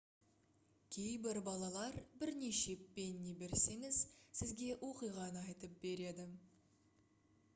кейбір балалар бірнеше пенни берсеңіз сізге оқиғаны айтып береді